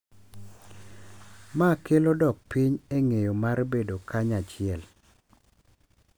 Ma kelo dok piny e ng’eyo mar bedo kanyachiel.